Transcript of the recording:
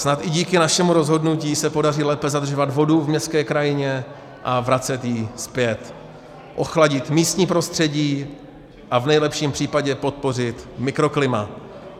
Snad i díky našemu rozhodnutí se podaří lépe zadržovat vodu v městské krajině a vracet ji zpět, ochladit místní prostředí a v nejlepším případě podpořit mikroklima.